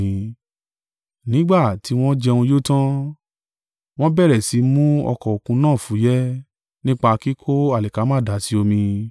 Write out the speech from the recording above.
Nígbà tí wọn jẹun yó tan, wọn bẹ̀rẹ̀ sí mu ọkọ̀-òkun náà fúyẹ́, nípa kíkó alikama dà sí omi.